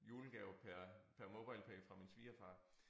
Julegave per per MobilePay fra min svigerfar